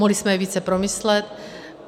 Mohli jsme je více promyslet.